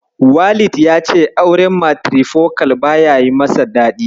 Walid ya ce auren matirifokal baya yi masa daɗi.